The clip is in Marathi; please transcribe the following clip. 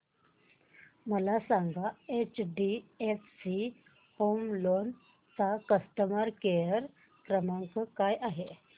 मला सांगा एचडीएफसी होम लोन चा कस्टमर केअर क्रमांक काय आहे